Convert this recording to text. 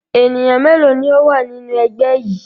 Ènìyàn mélòó ni ó wà nínú ẹgbẹ́ yìí?